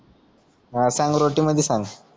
हा सांग रोटीमादी सांग